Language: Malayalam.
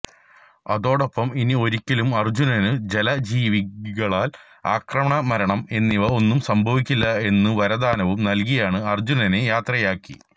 അതോടൊപ്പം ഇനി ഒരിക്കലും അർജ്ജുനന് ജല ജീവികളാൽ ആക്രമണംമരണം എന്നിവ ഒന്നും സംഭവിക്കില്ല എന്നുവരദാനവും നൽകിയാണ് അർജ്ജുനനെ യാത്ര യാക്കി